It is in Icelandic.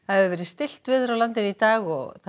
hefur verið stillt á landinu í dag og